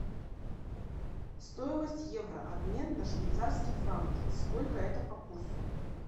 стоимость евро обмен на швейцарские франки сколько это по курсу